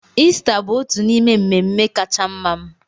Ista bụ otu n'ime mmemme kacha mma m.